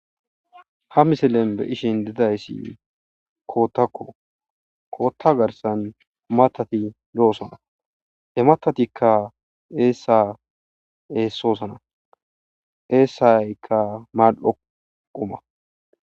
Ha misilen be'ishin didayssi kooththakko. kootta garsan matati e'oosana. he maththatika eessa eessoosona eessaykka mal''o quma.